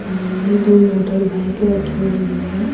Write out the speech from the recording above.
आमने दो motor bike रखी हुई है।